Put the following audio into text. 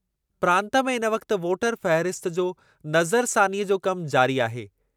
प्रांतु में हिन वक़्ति वोटर फ़हरिस्त जो नज़रसानीअ जो कमु जारी आहे।